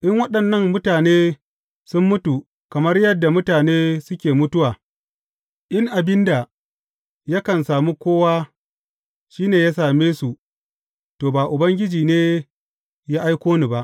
In waɗannan mutane sun mutu kamar yadda mutane suke mutuwa, in abin da yakan sami kowa shi ne ya same su, to, ba Ubangiji ne ya aiko ni ba.